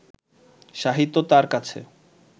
সাহিত্য তাঁর কাছে